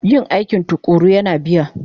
Yin aiki tuƙuru yana biya